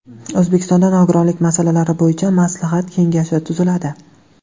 O‘zbekistonda nogironlik masalalari bo‘yicha maslahat kengashi tuziladi.